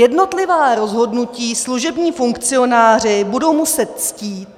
Jednotlivá rozhodnutí služební funkcionáři budou muset ctít.